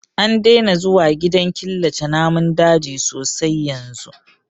An daina zuwa gidan killace namun daji sosai yanzu